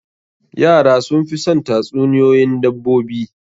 Yara sun fi son tatsuniyoyin dabbobi.